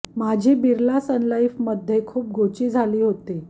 माझी बिर्ला सन्लाईफ मधे खुप गोची झाली होती